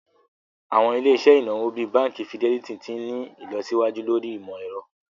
Awọn ilẹ̀-iṣẹ̀ inawo bíì Bánkì Fìdẹlìtì ti n ni ilọsiwaju lórí imọ̀-ẹ̀rọ̀.